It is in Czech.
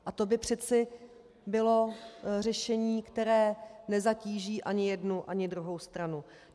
A to by přeci bylo řešení, které nezatíží ani jednu ani druhou stranu.